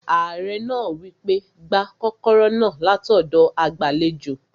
Ààrẹ náà wí pé, "gba kọ́kọ́rọ́ náà látọ̀dọ̀ agbàlejò